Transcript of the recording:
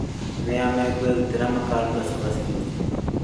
Nĩa makwĩrutĩra makaruga cabaci rũciũ?